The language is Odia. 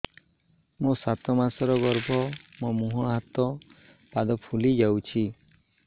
ମୋ ସାତ ମାସର ଗର୍ଭ ମୋ ମୁହଁ ହାତ ପାଦ ଫୁଲି ଯାଉଛି